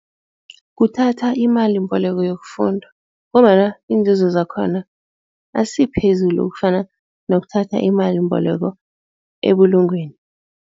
Kuthatha imalimboleko yokufunda ngombana iinzuzo zakhona asiphezulu ukufana nokuthatha imalimboleko ebulungweni.